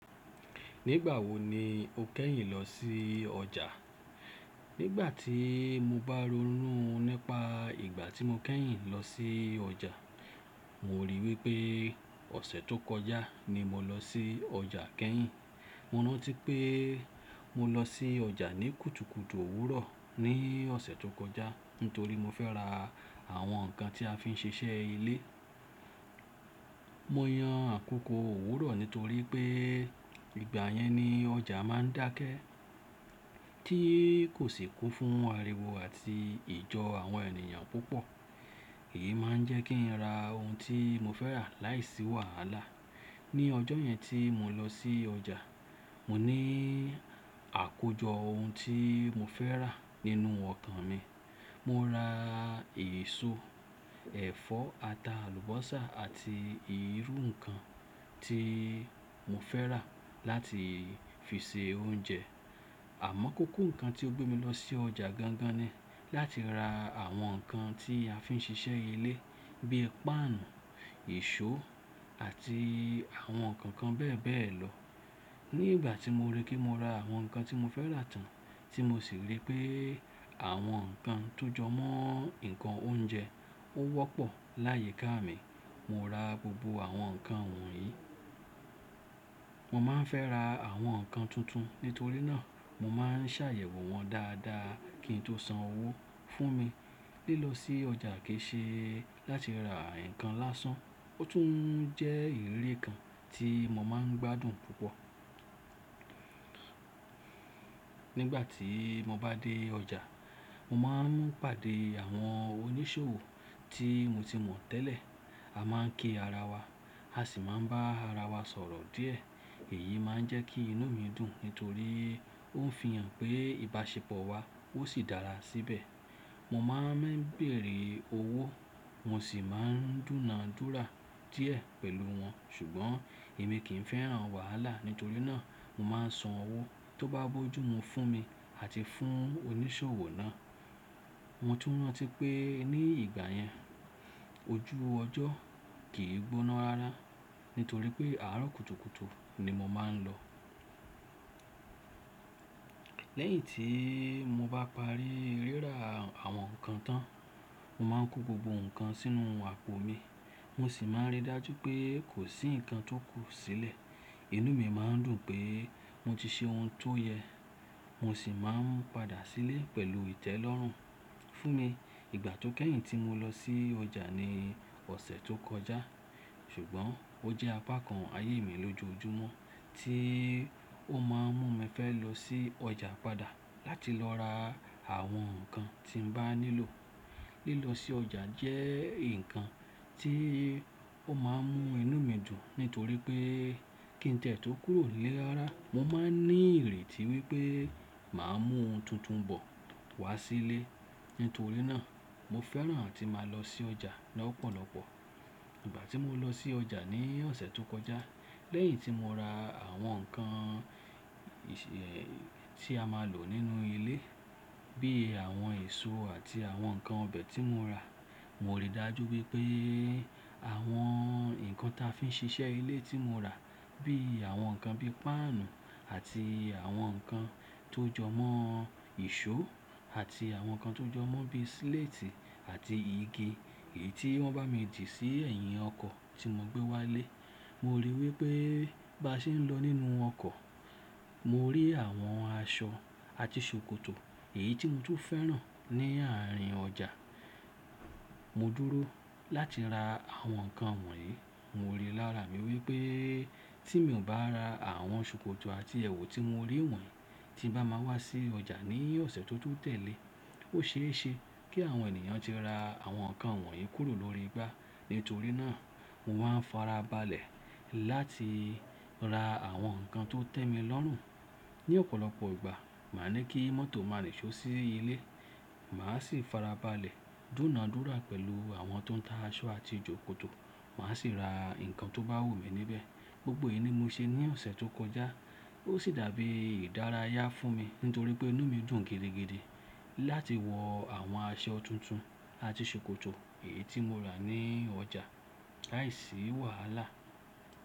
Nígbà wo ni o kẹ́yìn lọ sí ọjà? Nígbà tí mo bá ronú nípa ìgbà tí mo kẹ́yìn lọ sí ọjà, mo ríi wípé ọ̀sẹ̀ tó kọjá ni mo lọ sí ọjà kẹ́yìn. Mo rántí pé mo lọ sí ọjà ní kùtùkùtù òwúrọ̀ ní ọ̀sẹ̀ tó kọjá, nítorí mo fẹ́ ra àwọn nǹkan tí a fi ń ṣiṣẹ́ ilé. Mo yan àkókò òwúrọ̀ nítorí pé ìgbà yẹn ni ọjà máa ń dákẹ́, tí kò sì kó fún ariwo àti ìjọ àwọn ènìyàn púpọ̀. Èyí máa ń jẹ́ kí n ra ohun tí mo fẹ́ rà láìsí wàhálà. Ni ọjọ́ yẹn tí mo lọ sí ọjà, mo ní àkójọ ohun tí mo fẹ́ rà nínú ọkàn mi. Mo ra èso, ẹ̀fọ́, ata, àlùbọ́sà àti irú nǹkan tí mo fẹ́ rà láti fi ṣe oúnjẹ. Àmọ́ kóko nǹkan tí o gbé mi lọ sí ọjà gangan ni láti ra àwọn nǹkan tí a fi ń ṣiṣẹ́ ilé bíi páànù, eṣó àti àwọn nǹkan kan bẹ́ẹ̀ bẹ́ẹ̀ lọ. Ní ìgbà tí mo ríi kí mo ra àwọn nǹkan tí mo fẹ́ rà tán, tí mo sì ríi pé àwọn nǹkan tó jọmọ́ nǹkan oúnjẹ ó wọ́pọ̀ láyika mi, mo ra gbogbo àwọn nǹkan wọ̀nyí. Mo máa ń fẹ́ ra àwọn nǹkan tuntun, nítorí náà mo máa ń ṣàyẹ̀wò wọ́n dáadáa kí n tó san owó fún mi. Lílọ sí ọjà kì í ṣe láti ra nǹkan lásán, ó tún jẹ́ ìriri kan tí mo máa ń gbádùn púpọ̀. Nígbà tí mo bá dé ọjà, mo máa ń pàdé àwọn oníṣòwò tí mo ti mọ̀ tẹ́lẹ̀. A máa ń ki ara wa, a sì máa ń bá ara wa sọ̀rọ̀ díẹ̀. Èyí máa ń jẹ́ kí inú mi dùn nítorí ó ń fi hàn pé ìbáṣepọ̀ wa ó sì dára síbẹ̀. Mo máa ń bèèrè owó, mo sì máa ń dúna dúra díẹ̀ pẹ̀lú wọn, ṣùgbọ́n èmi kì í fẹ́ hàn wàhálà, nítorí náà mo máa ń san owó tó bá bójú mu fún mi àti fún oníṣòwò náà. Mo tún rántí pé ní ìgbà yẹn ojú ọjọ́ kì í gbóná rara, nítorí pé àárọ̀ kùtùkùtù ni mo máa ń lọ. Lẹ́yìn tí mo bá parí rírà àwọn nǹkan tán, mo máa ń kó gbogbo nǹkan sínú àpò mi, mo sì máa ń ríi dájú pé kò sí nǹkan tó kù sílẹ̀. Inú mi má ń dùn pé mo ti ṣe ohun tó yẹ, mo sì máa ń padà sílé pẹ̀lú ìtẹ́lọ́rùn fún mi. Ìgbà tó kẹ́yìn tí mo lọ sí ọjà ni ọ̀sẹ̀ tó kọjá, ṣùgbọ́n ó jẹ́ apá kan ayé mi lójoojúmọ́ tí ó máa ń mú mi fẹ́ lọ sí ọjà padà láti lọ ra àwọn nǹkan tí n bá nílò. Lílọ sí ọjà jẹ́ nǹkan tí ó máa ń mú inú mi dùn nítorí pé kí n tẹ̀ tó kúrò nle rara, mo máa ń ní ìrètí wípé màá mú ohun tuntun bọ̀ wá sílé. Nítorí náà mo fẹ́ràn atí màá lọ sí ọjà lọ́pọ̀lọpọ̀. Ìgbà tí mo lọ sí ọjà ní ọ̀sẹ̀ tó kọjá, lẹ́yìn tí mo ra àwọn nǹkan ìṣẹ̀ tí a máa ń lò nínú ilé bíi àwọn èso àti àwọn nǹkan ọbẹ̀ tí mo rà, mo ríi dájú wípé àwọn nǹkan tí a fi ń ṣiṣẹ́ ilé tí mo rà bíi àwọn nǹkan bíi páànù àti àwọn nǹkan tó jọmọ́, ìṣó àti àwọn nǹkan tó jọmọ́ bíi sléètì àti igi, èyí tí wọ́n bá mi dì sí ẹ̀yìn ọkọ̀ tí mo gbé wá ilé. Mo ríi wípé bá ṣe ń lọ nínú ọkọ̀, mo rí àwọn aṣọ àti ṣòkòtò, èyí tí mo tún fẹ́ rà ní àárín ọjà. Mo dúró láti ra àwọn nǹkan wọ̀nyí. Mo ríi lára mi wípé tí mi ò bá ra àwọn ṣòkòtò àti ẹ̀wù tí mo rí wọ̀nyí, tí bá máa wá sí ọjà ní ọ̀sẹ̀ tó tún tẹ̀lé, ó ṣe é ṣe kí àwọn ènìyàn ti ra àwọn nǹkan wọ̀nyí kúrò lórí igbá. Nítorí náà mo máa ń farabalẹ̀ láti ra àwọn nǹkan tó tẹ́mi lọ́rùn. Ni ọ̀pọ̀lọpọ̀ ìgbà, màá ní kí mọ́tò máa rìnsó sí ilé, màá sì farabalẹ̀, dúna dúra pẹ̀lú àwọn tó ń ta aṣọ àti jòkòtò, màá sì ra nǹkan tó bá wù mí níbẹ̀. Gbogbo èyí ni mo ṣe ní ọ̀sẹ̀ tó kọjá, ó sì dàbí ìdárayá fún mi nítorí pé inú mi dùn gidigidi láti wọ àwọn aṣọ tuntun àti ṣòkòtò èyí tí mo rà ní ọjà láìsí wàhálà.